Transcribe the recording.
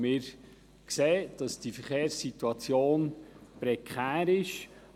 Wir sehen, dass die Verkehrssituation prekär ist.